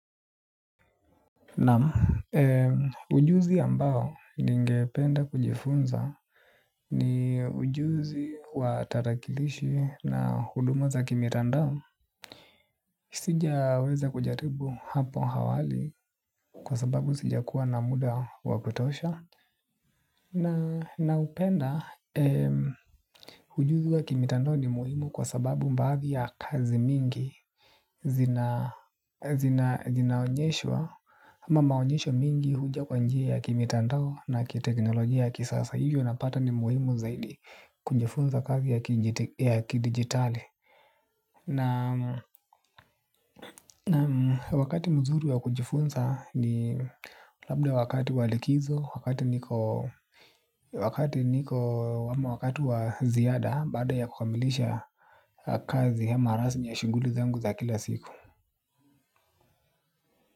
Naam, ujuzi ambao ningependa kujifunza ni ujuzi wa tarakilishi na huduma za kimitandao. Sijaweza kujaribu hapo awali kwa sababu sijakuwa na muda wa kutosha. Naupenda, ujuzi wa kimitandao ni muhimu kwa sababu baadhi ya kazi mingi zinaonyeshwa ama maonyesho mingi huja kwa njia ya kimitandao na kiteknolojia ya kisasa hivyo unapata ni muhimu zaidi kujifunza kazi ya kidijitali. Na wakati mzuri ya kujifunza ni labda wakati wa likizo wakati niko wakati niko ama wakati wa ziada baada ya kukamilisha kazi ama rasmi ya shughuli zangu za kila siku.